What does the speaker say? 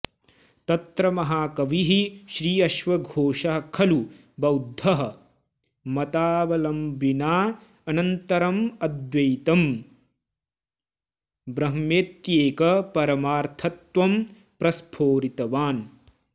तत्र महाकविः श्रीअश्वघोषः खलु बौद्ध मतावलम्बनानन्तरमद्वैतं ब्रह्मेत्येक परमार्थतत्त्वं प्रस्फोरितवान्